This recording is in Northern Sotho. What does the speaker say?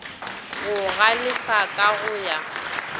go galefa ka go ya